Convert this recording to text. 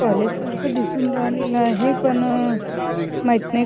College सारखं दिसून राहिलेलं आहे पण अह माहित नाही.